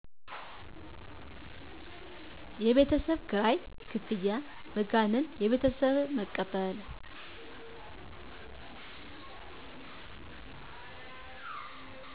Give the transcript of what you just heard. የቤት ኪራይ ክፍያ መጋነን ከቤተሠብ በመቀበል